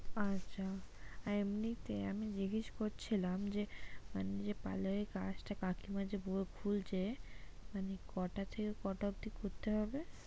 আচ্ছা, আর এমনিতে আমি জিজ্ঞেস করছিলাম যে মানে যে parlour এর কাজটা কাকিমা যে খুলছে মানে কটা থেকে কটা অব্দি করতে হবে?